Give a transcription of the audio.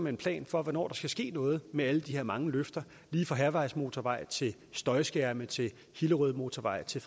en plan for hvornår der skal ske noget med alle de her mange løfter lige fra hærvejsmotorvej til støjskærme til hillerødmotorvej til